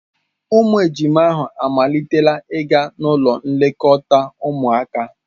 Ụmụ ejima ahụ amalitela ịga ụlọ nlekọta ụmụaka.